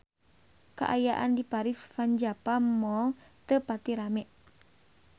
Kaayaan di Paris van Java Mall teu pati rame